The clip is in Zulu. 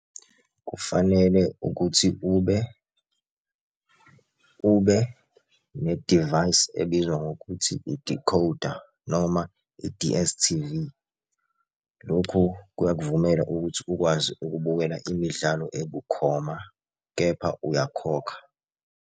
Kufanele ukuthi kube, kube ne-device ebizwa ngokuthi i-decoder noma i-D_S_T_V. Lokhu kuyakuvumela ukuthi ukwazi ukubukela imidlalo ebukhoma, kepha uyakhokha.